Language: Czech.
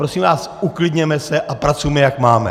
Prosím vás, uklidněme se a pracujme, jak máme.